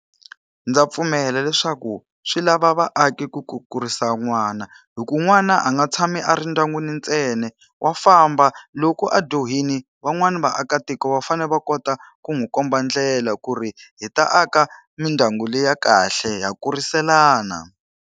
Ndza pfumela leswaku swi lava vaaki ku ku kurisa n'wana. Hikuva n'wana a nga tshami a ri ndyangwini ntsena, wa famba. Loko a dyohile van'wani vaakatiko va fanele va kota ku n'wi komba ndlela ku ri hi ta aka mindyangu leyi ya kahle ha kuriselana.